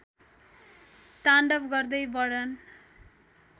ताण्डव गर्दै वर्णन